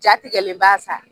Jatigɛlenba sa